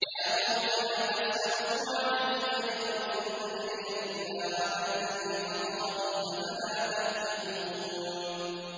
يَا قَوْمِ لَا أَسْأَلُكُمْ عَلَيْهِ أَجْرًا ۖ إِنْ أَجْرِيَ إِلَّا عَلَى الَّذِي فَطَرَنِي ۚ أَفَلَا تَعْقِلُونَ